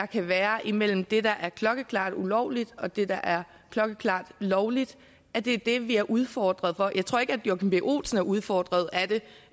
kan være imellem det der er klokkeklart ulovligt og det der er klokkeklart lovligt det er det vi er udfordret af jeg tror ikke at joachim b olsen er udfordret af det